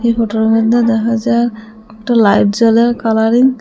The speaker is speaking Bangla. এই ফটো - এর মদ্যে দেখা যায় একটা লাইট জ্বলে কালারিং ।